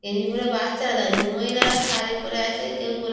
গেঞ্জি পরে বাচ্চারা দাঁড়িয়ে আছে মহিলারা শাড়ি পরে আছে কেউ গোল--